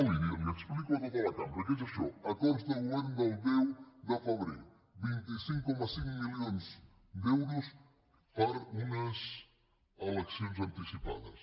li ho explico a tota la cambra què és això acords de govern del deu de febrer vint cinc coma cinc milions d’euros per a unes eleccions anticipades